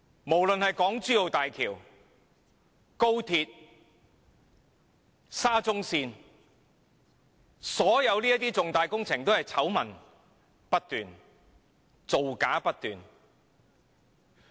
不論是港珠澳大橋、高鐵以至沙中線，所有重大工程都是醜聞不斷，造假不斷。